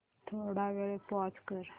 थोडा वेळ पॉझ कर